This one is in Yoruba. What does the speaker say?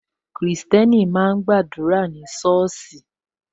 Kristẹni máa ń gba àdúrà ní soosi